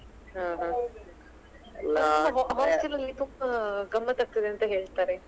ಹ ಹ hostel ಅಲ್ಲಿ ತುಂಬ ಗಮ್ಮತ್ ಆಗ್ತದೆ ಅಂತ ಹೇಳ್ತಾರೆ.